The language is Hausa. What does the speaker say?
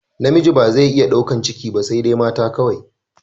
Namiji ba zai iya daukan ciki ba saidai mata kawai